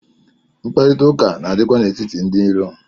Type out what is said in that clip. Mkparịta ụka na-adị kwa n'etiti ndị iro.